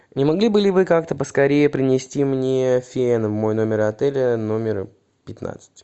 не могли бы ли вы как то поскорее принести мне фен в мой номер отеля номер пятнадцать